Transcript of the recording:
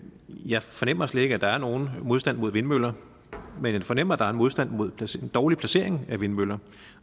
jeg fornemmer slet ikke at der er nogen modstand mod vindmøller men jeg fornemmer at der er en modstand mod dårlig placering af vindmøller